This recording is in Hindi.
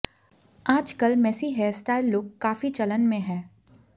आज कल मेसी हेयरस्टाइल लूक काफी चलन में है